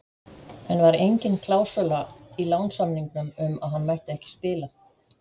En var engin klásúla í lánssamningnum um að hann mætti ekki spila?